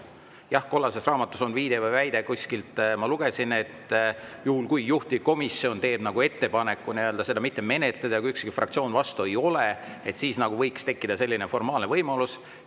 Jah, kollases raamatus on viide või väide – kuskilt ma lugesin –, et kui juhtivkomisjon teeb ettepaneku mitte menetleda ja kui ükski fraktsioon vastu ei ole, siis võib tekkida selline formaalne võimalus.